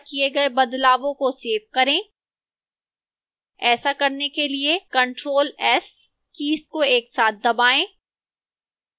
अब अपने द्वारा किए गए बदलवों को सेव करें ऐसा करने के लिए ctrl + s कीज़ को एक साथ दबाएँ